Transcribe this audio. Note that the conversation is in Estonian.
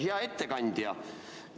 Hea ettekandja!